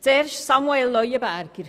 Zuerst zu Grossrat Leuenberger